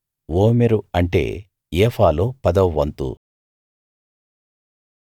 ఓమెరు అంటే ఏఫాలో పదవ వంతు